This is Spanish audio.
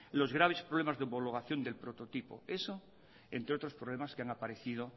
los graves problemas de homologación del prototipo eso entre otros problemas que han aparecido